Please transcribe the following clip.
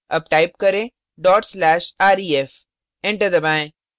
अब type करें dot slash ref enter दबाएँ